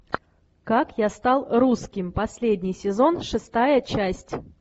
как я стал русским последний сезон шестая часть